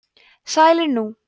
sælir nú